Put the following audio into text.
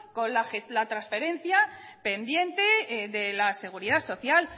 con la transferencia pendiente de la seguridad social